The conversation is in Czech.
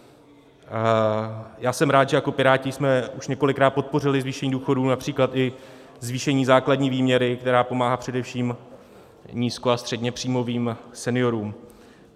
Já jsem rád, že jako Piráti jsme už několikrát podpořili zvýšení důchodů, například i zvýšení základní výměry, která pomáhá především nízko- a středněpříjmovým seniorům.